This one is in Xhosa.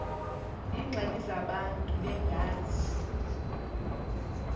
iingxaki zabantu bengazi